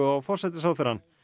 á forsætisráðherrann